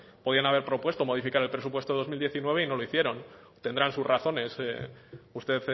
podrían haber propuesto modificar el presupuesto dos mil diecinueve y no lo hicieron tendrán sus razones usted